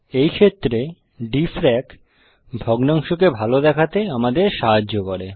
এই ক্ষেত্রে ডিএফআরএসি ভগ্নাংশকে ভালো দেখাতে আমাদের সাহায্য করে